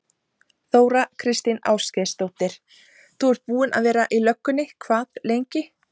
Þóra Kristín Ásgeirsdóttir: Þú ert búinn að vera í löggunni hvað lengi?